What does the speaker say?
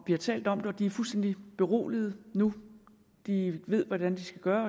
vi har talt om det og de er fuldstændig beroliget nu de ved hvordan de skal gøre